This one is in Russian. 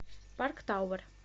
парк тауэр